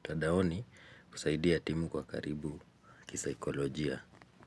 mtadaoni kusaidia timu kwa karibu kisaikolojia.